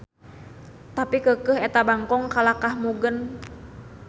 Tapi keukeuh eta bangkong kalahkah mugen.